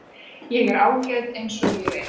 Ég er ágæt eins og ég er.